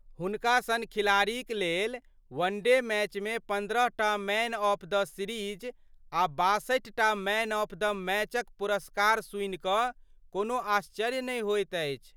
हुनका सन खिलाड़ीक लेल वनडे मैचमे पन्द्रहटा मैन ऑफ द सीरीज आ बासठिटा मैन ऑफ द मैचक पुरस्कार सुनि कऽ कोनो आश्चर्य नहि होइत अछि।